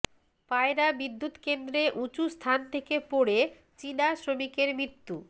পায়রা বিদ্যুৎকেন্দ্রে উঁচু স্থান থেকে পড়ে চীনা শ্রমিকের মৃত্যু